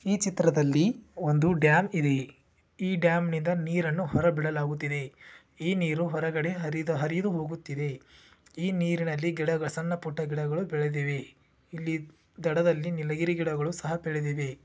ಈ ಚಿತ್ರದಲ್ಲಿ ಒಂದು ಡ್ಯಾಮ್ ಇದೆ ಈ ಡ್ಯಾಮ್ ನಿಂದ ನೀರನ್ನು ಹೊರ ಬಿಡಲಾಗುತ್ತಿದೆ ಈ ನೀರು ಹೊರಗಡೆ ಹರಿದು ಹರಿದು ಹೋಗುತ್ತಿದೆ ಈ ನೀರಿನಲ್ಲಿ ಗಿಡಗಳು ಸಣ್ಣಪುಟ್ಟ ಗಿಡಗಳು ಬೆಳೆದಿವೆ ಇಲ್ಲಿ ದಡದಲ್ಲಿ ನೀಲಗಿರಿ ಗಿಡಗಳು ಸಹ ಬೆಳೆದಿದೆ.